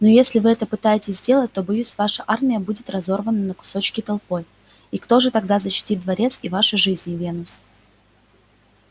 но если вы это попытаетесь сделать то боюсь ваша армия будет разорвана на кусочки толпой и кто же тогда защитит дворец и ваши жизни венус